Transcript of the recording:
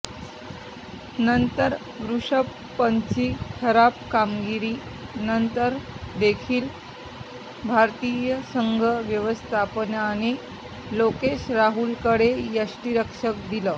नंतर ऋषभ पंतची खराब कामगिरी नंतर देखील भारतीय संघ व्यवस्थापनाने लोकेश राहुलकडे यष्टीरक्षण दिलं